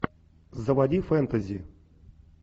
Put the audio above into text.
заводи фэнтези